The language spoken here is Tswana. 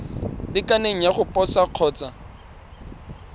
lekaneng ya go posa kgotsa